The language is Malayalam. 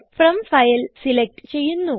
ഫ്രോം ഫൈൽ സിലക്റ്റ് ചെയ്യുന്നു